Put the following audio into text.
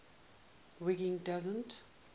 wiggin doesn t